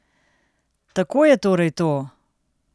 Tako je torej to?